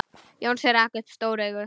Jónsi rak upp stór augu.